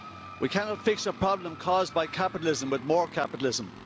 We cannot fix a problem caused by capitalism with more capitalism.